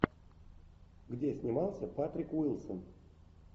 где снимался патрик уилсон